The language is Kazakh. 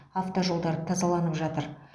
автожолдар тазаланып жатыр